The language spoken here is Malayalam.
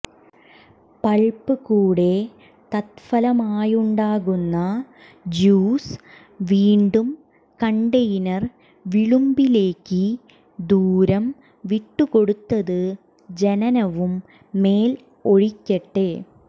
പൾപ്പ് കൂടെ തത്ഫലമായുണ്ടാകുന്ന ജ്യൂസ് വീണ്ടും കണ്ടെയ്നർ വിളുമ്പിലേക്ക് ദൂരം വിട്ടുകൊടുത്തത് ജനനവും മേൽ ഒഴിക്കട്ടെ